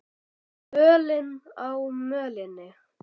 Völin á mölinni